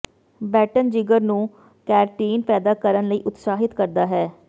baton ਜਿਗਰ ਨੂੰ ਕੈਰਟੀਨ ਪੈਦਾ ਕਰਨ ਲਈ ਉਤਸ਼ਾਹਿਤ ਕਰਦਾ ਹੈ